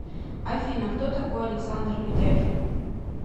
афина кто такой александр ведяхин